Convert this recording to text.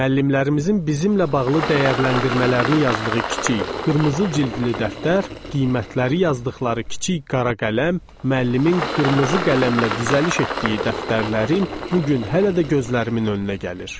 Müəllimlərimizin bizimlə bağlı dəyərləndirmələrini yazdığı kiçik qırmızı cildli dəftər, qiymətləri yazdıqları kiçik qara qələm, müəllimin qırmızı qələmlə düzəliş etdiyi dəftərlərim bu gün hələ də gözlərimin önünə gəlir.